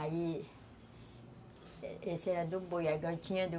Aí... Essa era do boi,